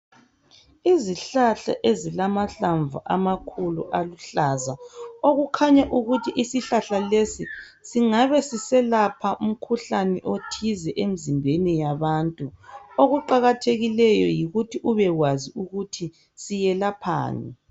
Izihlahla ezilamahlamvu amakhulu aluhlaza okukhanya ukuthi isihlahla lesi singabe siselapha umkhuhlane othize emizimbeni yabantu okuqakathekileyo yikuthi ubekwazi ukuthi siyelaphani.